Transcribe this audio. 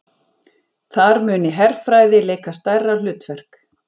Þar muni herfræði leika stærra hlutverk